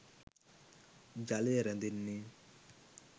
ජලය රැඳෙන්නේ